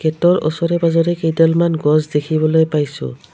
গেটৰ উচৰে পাজৰে কেইডালমান গছ দেখিবলৈ পাইছোঁ।